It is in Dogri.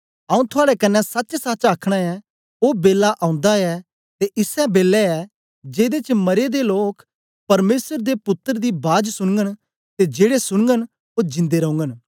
आऊँ थुआड़े कन्ने सचसच आखना ऐ ओ बेला ओंदा ऐ ते इसै बेलै ऐ जेदे च मरे दे लोक परमेसर दे पुत्तर दी बाज सुनगन ते जेड़े सुनगन ओ जिंदे रौगन